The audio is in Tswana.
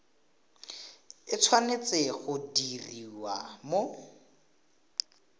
e tshwanetse go diriwa mo